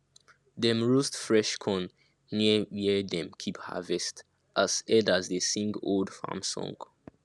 dem roast fresh corn near where dem keep harvest as elders dey sing old farm song